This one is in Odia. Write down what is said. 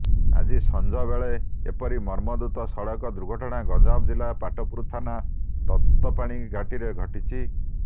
ଆଜି ସଞ୍ଜ ବେଳେ ଏପରି ମର୍ମନ୍ତୁଦ ସଡ଼କ ଦୁର୍ଘଟଣା ଗଞ୍ଜାମ ଜିଲ୍ଲା ପାଟପୁର ଥାନା ତପ୍ତପାଣି ଘାଟିରେ ଘଟିଛି